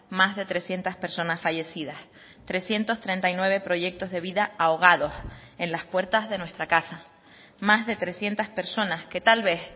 más de trescientos personas fallecidas trescientos treinta y nueve proyectos de vida ahogados en las puertas de nuestra casa más de trescientos personas que tal vez